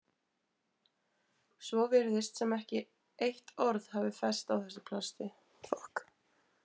Svo virðist sem ekkert eitt orð hafi fest á þessu plasti.